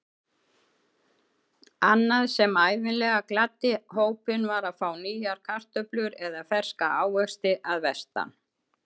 Annað sem ævinlega gladdi hópinn var að fá nýjar kartöflur eða ferska ávexti að vestan.